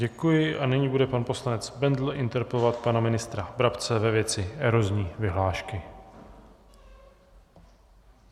Děkuji a nyní bude pan poslanec Bendl interpelovat pana ministra Brabce ve věci erozní vyhlášky.